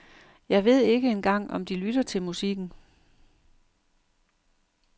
Jeg ved ikke engang om de lytter til musikken.